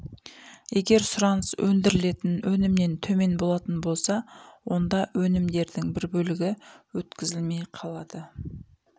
егер сұраныс өндірілетін өнімнен төмен болатын болса онда өнімдердің бір бөлігі өткізілмей қалады